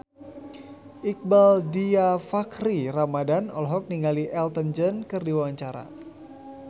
Iqbaal Dhiafakhri Ramadhan olohok ningali Elton John keur diwawancara